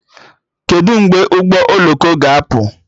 Kedụ mgbe ụgbọ oloko ga-apụ?